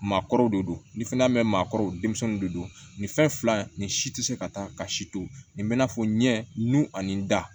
Maakɔrɔw de don ni fɛnɛ bɛ maa kɔrɔ denmisɛnnin de don nin fɛn fila nin si tɛ se ka taa ka si to nin bɛ n'a fɔ ɲɛ nun ani da